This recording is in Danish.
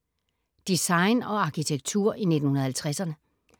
Design og arkitektur i 1950’erne